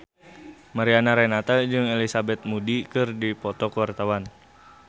Mariana Renata jeung Elizabeth Moody keur dipoto ku wartawan